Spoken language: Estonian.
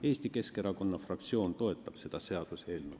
Eesti Keskerakonna fraktsioon toetab seda seaduseelnõu.